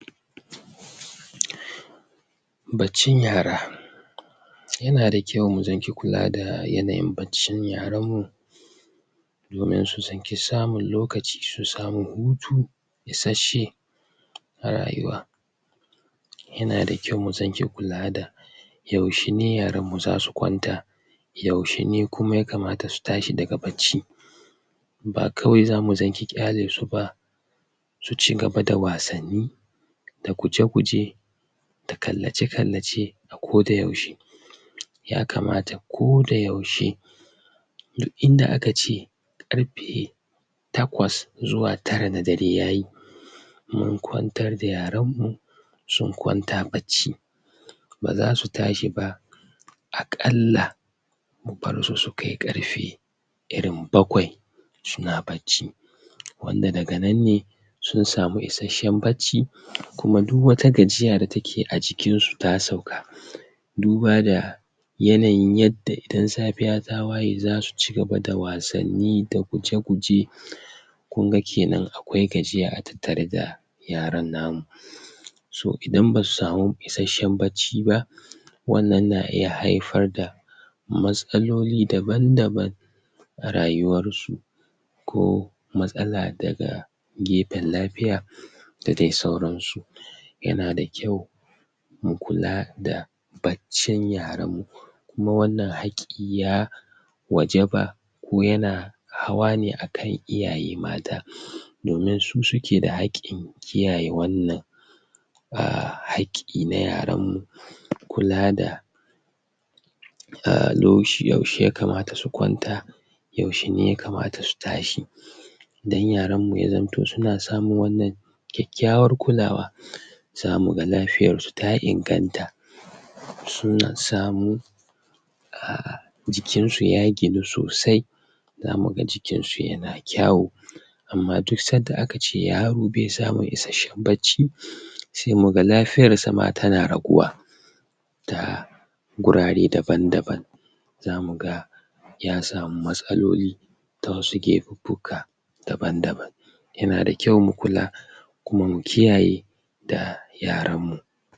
Baccin yara yana da kyau mu zaki kulawa da baccin yaran mu domin su zanki samun lokaci su samu hutu isashe a rayuwa yana da kyau mu zanki kulawa da yaushe ne yaran mu zasu kwanta yaushe ne kuma yakamata su tashi daga bacci ba kawai zamu zanki ƙyale su ba su cigaba da wasanni da guje-guje da kallace-kallace a kodayaushe yakamata kodayaushe duk inda aka ce ƙarfe takwas zuwa tara na dare yayi mun kwantar da yaran mu sun kwanta bacci ba zasu tashi ba a ƙalla mu bar su su kai ƙarfe irin bakwai suna bacci wanda daga nan ne sun samu isashen bacci kuma duk wata gajiya da take a jikin su ta sauka duba da yanayin yadda idan safiya ta waye zasu cigaba da wasanni da guje-guje kunga kenan akwai gajiya a tattare da yaran na mu so idan basu samu isashen bacci ba wannan na iya haifar da matsaloli daban-daban a rayuwar su ko matsala daga gefen lafiya da dai sauran su yana da kyau mu kula da baccin yaran mu kuma wannan haƙƙi ya wajaba ko yana hawa ne a kan iyaye mata domin su suke da haƙƙin kiyaye wannan a haƙƙi na yaran mu kula da yaushe yakamata su kwanta yaushe ne yakamata su tashi, dan yaran mu ya zamto suna samun wannan kyakkyawar kulawa zamu ga lafiyar su ta inganta sun samu a jikin su ya ginu sosai zamu ga jikin su yana kyawu amma duk sadda aka ce yaro be samun isashen bacci se muga lafiyar sa ma tana raguwa ta gurare daban-daban zamu ga ya samu matsaloli ta wasu gefuffuka daban-daban yana da kyau mu kula kuma mu kiyaye da yaran mu.